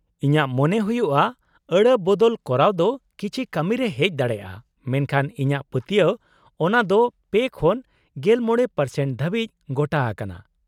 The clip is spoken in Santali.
ᱤᱧᱟᱹᱜ ᱢᱚᱱᱮ ᱦᱩᱭᱩᱜᱼᱟ ᱟᱹᱲᱟᱹ ᱵᱚᱫᱚᱞ ᱠᱚᱨᱟᱣ ᱫᱚ ᱠᱤᱪᱷᱤ ᱠᱟᱹᱢᱤ ᱨᱮ ᱦᱮᱡ ᱫᱟᱲᱮᱭᱟᱜᱼᱟ, ᱢᱮᱱᱠᱷᱟᱱ ᱤᱧᱟᱹᱜ ᱯᱟᱹᱛᱭᱟᱹᱣ ᱚᱱᱟ ᱫᱚ ᱓ᱼ᱑᱕% ᱫᱷᱟᱹᱵᱤᱡ ᱜᱚᱴᱟ ᱟᱠᱟᱱᱟ ᱾